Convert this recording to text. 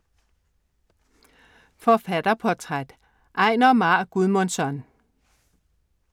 Forfatterportræt: Einar Már Guðmundsson